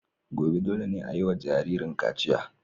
Gobe, dole ne a yi wa jaririn kachiya.